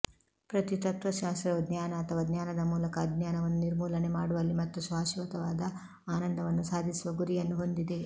ಪ್ರತಿ ತತ್ತ್ವಶಾಸ್ತ್ರವು ಜ್ಞಾನ ಅಥವಾ ಜ್ಞಾನದ ಮೂಲಕ ಅಜ್ಞಾನವನ್ನು ನಿರ್ಮೂಲನೆ ಮಾಡುವಲ್ಲಿ ಮತ್ತು ಶಾಶ್ವತವಾದ ಆನಂದವನ್ನು ಸಾಧಿಸುವ ಗುರಿಯನ್ನು ಹೊಂದಿದೆ